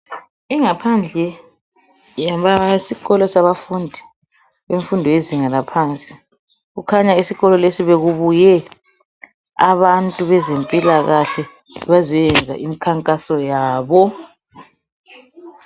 Ingaphandle yesikolo sabafundi imfundo yezinga laphansi. Kukhanya esikolo lesi bekubuye abantu bezempilakahle bazoyenza imkhankaso yabo.